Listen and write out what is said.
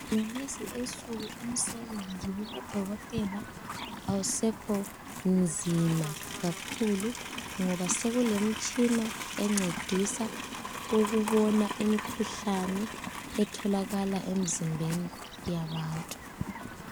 Kulezinsuku umsebenzi wabodokotela awusekho nzima kakhulu ngoba sekulemitshina encedisa ukubona imikhuhlane etholakala emizimbeni yabantu